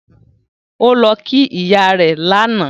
Ó lọ kí ìyá rẹ̀ lánàá